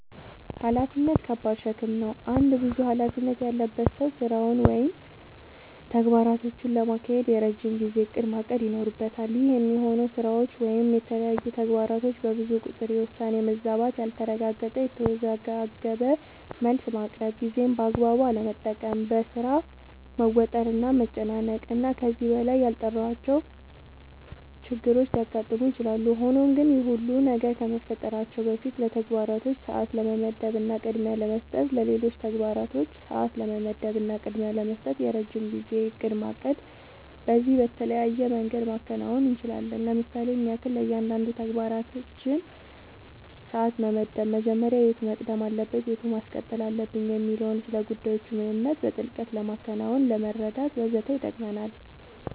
ኃላፊነት ከባድ ሸክም ነው። አንድ ብዙ ኃላፊነት ያለበት ሰው ስራውን ወይም ተግባራቶቹን ለማካሄድ የረጅም ጊዜ እቅድ ማቀድ ይኖርበታል። ይህ የሚሆነው ስራዎች ወይም የተለያዩ ተግባራቶች በብዙ ቁጥር የውሳኔ መዛባት ያልተረጋገጠ፣ የተወዘጋገበ መልስ ማቅረብ፣ ጊዜን በአግባቡ አለመጠቀም፣ በሥራ መወጠር እና መጨናነቅ እና ከዚህ በላይ ያልጠራሁዋቸው ችግሮች ሊያጋጥሙ ይችላሉ። ሆኖም ግን ይህ ሁሉ ነገር ከመፈጠራቸው በፊት ለተግባራቶች ሰዓት ለመመደብ እና ቅድሚያ ለመስጠት ለሌሎች ተግባራቶች ሰዓት ለመመደብ እና ቅድሚያ ለመስጠት የረጅም ጊዜ እቅድ ማቀድ በዚህም በተለያየ መንገድ ማከናወን አንችላለኝ ለምሳሌም ያክል፦ ለእያንዳንዱ ተግባራችን ሰዓት መመደብ መጀመሪያ የቱ መቅደም አለበት የቱን ማስቀጠል አለብኝ የሚለውን፣ ስለጉዳዮቹ ምንነት በጥልቀት ለማወቅናለመረዳት ወዘተ ይጠቅመናል።